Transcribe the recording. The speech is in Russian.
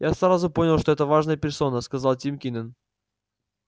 я сразу понял что это важная персона сказал тим кинен